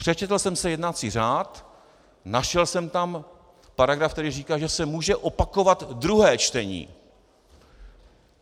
Přečetl jsem si jednací řád, našel jsem tam paragraf, který říká, že se může opakovat druhé čtení.